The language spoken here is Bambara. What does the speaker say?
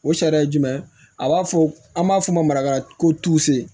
O sariya ye jumɛn ye a b'a fɔ an b'a fɔ o ma marakara ko